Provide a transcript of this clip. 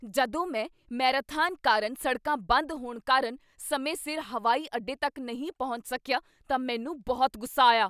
ਜਦੋਂ ਮੈਂ ਮੈਰਾਥਨ ਕਾਰਨ ਸੜਕਾਂ ਬੰਦ ਹੋਣ ਕਾਰਨ ਸਮੇਂ ਸਿਰ ਹਵਾਈ ਅੱਡੇ ਤੱਕ ਨਹੀਂ ਪਹੁੰਚ ਸਕਿਆ ਤਾਂ ਮੈਨੂੰ ਬਹੁਤ ਗੁੱਸਾ ਆਇਆ।